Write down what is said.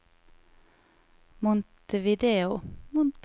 Montevideo